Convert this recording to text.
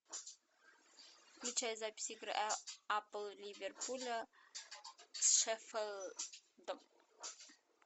включай запись игры апл ливерпуля с шеффилдом